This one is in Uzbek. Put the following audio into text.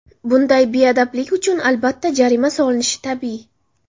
Bunday beadablik uchun, albatta, jarima solinishi tabiiy.